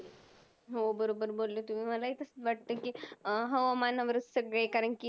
हो, बरोबर बोलले तुम्ही. मलाही तसंच वाटतं की हवामानवरच सगळे कारण की